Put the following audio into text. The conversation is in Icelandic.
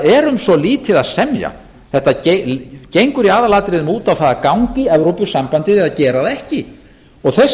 er um svo lítið að semja þetta gengur í aðalatriðum út á það að ganga í evrópusambandið eða gera það ekki þeir sem hafa verið